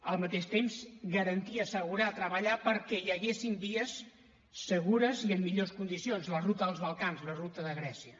al mateix temps garantir assegurar treballar perquè hi haguessin vies segures i en millors condicions la ruta dels balcans la ruta de grècia